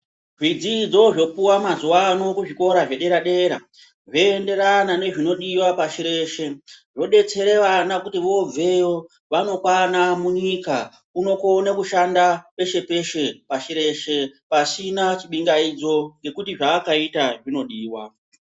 Zvidzidzo zvopuwa mazuva ano ku zvikora zvedera dera zvo enderana ne zvinodiwa pashi reshe wodetsere vana kuti vobveyo vano kwana munyika uno kone kushanda peshe peshe pashi reshe pasina chi bingaidzo ngekuti zva akaita zvino diwa.